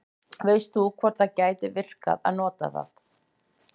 veist þú hvort það gæti virkað að nota það